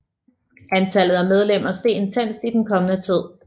Antallet af medlemmer steg intenst i den kommende tid